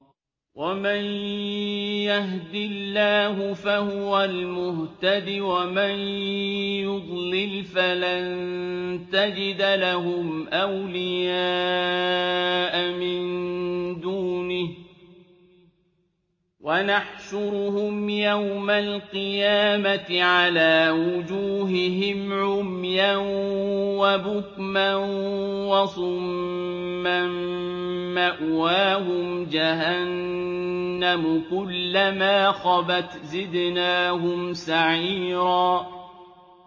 وَمَن يَهْدِ اللَّهُ فَهُوَ الْمُهْتَدِ ۖ وَمَن يُضْلِلْ فَلَن تَجِدَ لَهُمْ أَوْلِيَاءَ مِن دُونِهِ ۖ وَنَحْشُرُهُمْ يَوْمَ الْقِيَامَةِ عَلَىٰ وُجُوهِهِمْ عُمْيًا وَبُكْمًا وَصُمًّا ۖ مَّأْوَاهُمْ جَهَنَّمُ ۖ كُلَّمَا خَبَتْ زِدْنَاهُمْ سَعِيرًا